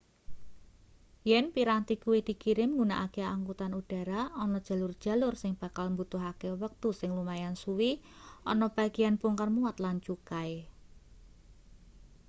yen piranti kuwi dikirim nggunakake angkutan udara ana jalur-jalur sing bakal mbutuhake wektu sing lumayan suwe ana bageyan bongkar muat lan cukai